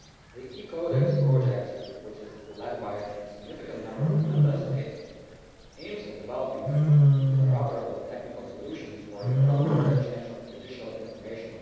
The e CODEX project, which is led by a significant number of Member States, aims at developing interoperable technical solutions for the cross border exchange of judicial information.